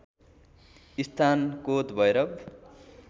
स्थान कोत भैरव